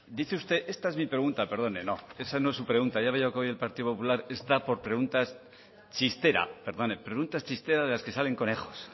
dice usted esta es mi pregunta perdone no esa no es su pregunta ya veo que hoy el partido popular está por preguntas chistera de las que salen conejos